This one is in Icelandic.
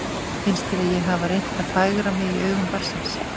Finnst þér ég hafa reynt að fegra mig í augum barnsins?